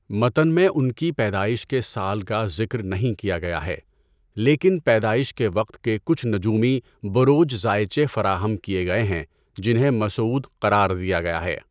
متن میں ان کی پیدائش کے سال کا ذکر نہیں کیا گیا ہے، لیکن پیدائش کے وقت کے کچھ نجومی بروج زائچے فراہم کیے گئے ہیں جنہیں مسعود قرار دیا گیا ہے۔